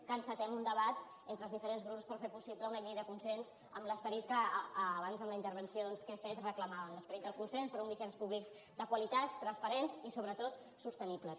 que encetem un debat entre els diferents grups per fer possible una llei de consens amb l’esperit que abans en la intervenció que he fet reclamàvem l’esperit del consens per uns mitjans públics de qualitat transparents i sobretot sostenibles